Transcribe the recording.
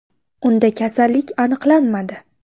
Unda kasallik aniqlanmadi .